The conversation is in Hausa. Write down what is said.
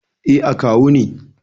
Eh, akawu ne.